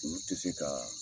Olu tɛ se ka